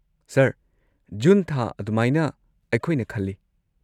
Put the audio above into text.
Sir, June ꯊꯥ ꯑꯗꯨꯃꯥꯏꯅ ꯑꯩꯈꯣꯏꯅ ꯈꯜꯂꯤ꯫